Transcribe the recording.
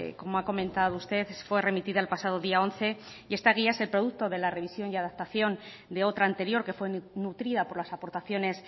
como ha comentado usted fue remitida el pasado día once y esta guía es el producto de la revisión y adaptación de otra anterior que fue nutrida por las aportaciones